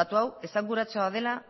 datu hau esanguratsua dela